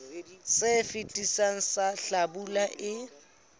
se fetileng sa hlabula e